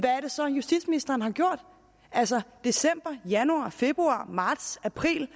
er det så justitsministeren har gjort altså december januar februar marts april